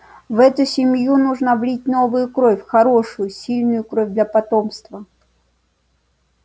в эту семью нужно влить новую кровь хорошую сильную кровь для потомства